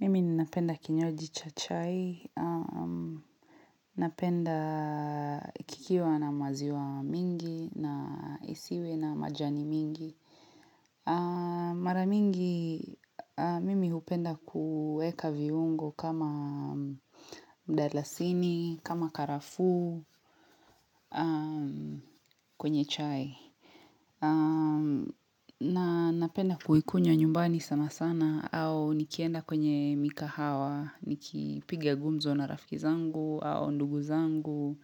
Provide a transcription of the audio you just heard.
Mimi napenda kinywaji cha chai, napenda kikiwa na maziwa mingi, na isiwe na majani mingi. Maramingi, mimi hupenda kueka viungo kama mdalasini, kama karafu, kwenye chai. Na napenda kuhikunywa nyumbani sana sana au nikienda kwenye mika hawa Nikipigia gumzo na rafkizangu au nduguzangu